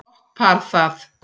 Gott par það.